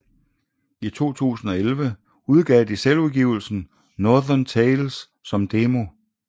I 2011 udgav de selvudgivelsen Northern Tales som demo